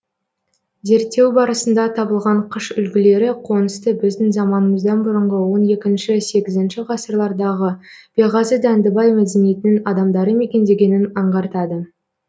зерттеу барысында табылған қыш үлгілері қонысты біздің заманымыздан бұрынғы он екінші сегізінші ғасырлардағы беғазы дәндібай мәдениетінің адамдары мекендегенін аңғартады